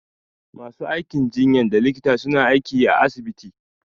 Ma su aikin jinyan da likita suna aiki à asibiti.